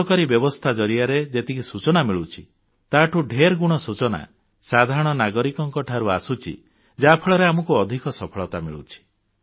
ସରକାରୀ ବ୍ୟବସ୍ଥା ଜରିଆରେ ଯେତିକି ସୂଚନା ମିଳୁଛି ତାଠୁଁ ଢେରଗୁଣା ସୂଚନା ସାଧାରଣ ନାଗରିକଙ୍କଠାରୁ ଆସୁଛି ଯାହାଫଳରେ ଆମକୁ ଅଧିକ ସଫଳତା ମିଳୁଛି